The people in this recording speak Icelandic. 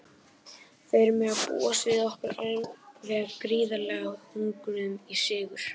Þeir mega búast við okkur alveg gríðarlega hungruðum í sigur.